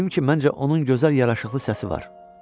Dedim ki, məncə onun gözəl yaraşıqlı səsi var.